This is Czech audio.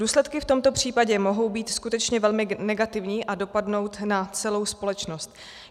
Důsledky v tomto případě mohou být skutečně velmi negativní a dopadnout na celou společnost.